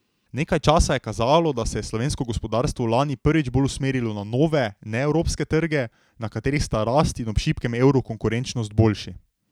Nekaj časa je kazalo, da se je slovensko gospodarstvo lani prvič bolj usmerilo na nove, neevropske trge, na katerih sta rast in ob šibkem evru konkurenčnost boljši.